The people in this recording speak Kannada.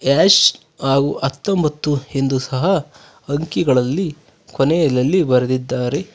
ಡ್ಯಾಶ್ ಹಾಗೂ ಹತ್ತೊಂಬತ್ತು ಇಂದು ಸಹ ಅಂಕಿಗಳಲ್ಲಿ ಕೊನೆಯಲಲ್ಲಿ ಬರೆದಿದ್ದಾರೆ.